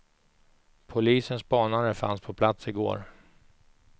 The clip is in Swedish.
Polisens spanare fanns på plats i går.